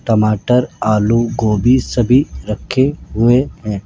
टमाटर आलू गोभी सभी रखे हुए हैं।